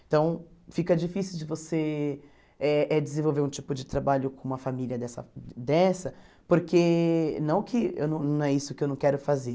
Então, fica difícil de você eh eh desenvolver um tipo de trabalho com uma família dessa dessa, porque não que eu não não é isso que eu não quero fazer.